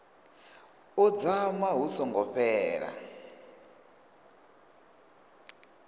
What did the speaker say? ḓo dzama hu songo fhela